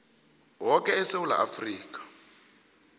woke esewula afrika